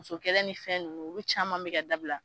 Muso kɛlɛ ni fɛn nunnu olu caman be ka dabila